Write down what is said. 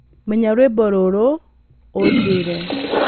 Menya rwĩmbo rũrũ na ũnjĩĩre